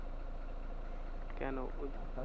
কেন? টাকা